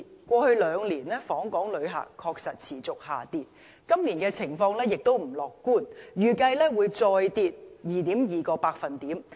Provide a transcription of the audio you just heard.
過去兩年，訪港旅客人數確實持續下跌，今年的情況亦不樂觀，預計會再跌 2.2%。